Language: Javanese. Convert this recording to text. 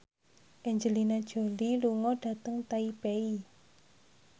Angelina Jolie lunga dhateng Taipei